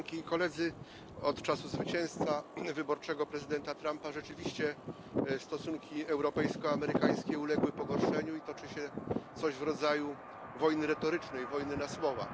Od czasu zwycięstwa wyborczego prezydenta Trumpa rzeczywiście stosunki europejsko amerykańskie uległy pogorszeniu i toczy się coś w rodzaju wojny retorycznej, wojny na słowa.